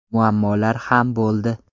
Muammolar ham bo‘ldi.